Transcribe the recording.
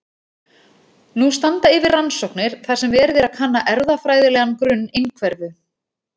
Nú standa yfir rannsóknir þar sem verið er að kanna erfðafræðilegan grunn einhverfu.